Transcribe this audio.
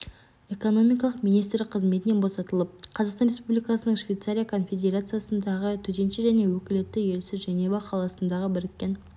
экономикалық министрі қызметінен босатылып қазақстан республикасының швейцария конфедерациясындағы төтенше және өкілетті елшісі женева қаласындағы біріккен